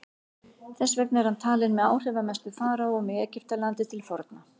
þess vegna er hann talinn með áhrifamestu faraóum í egyptalandi til forna